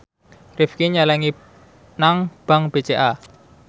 Rifqi nyelengi nang bank BCA